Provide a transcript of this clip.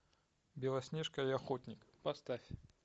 белоснежка и охотник поставь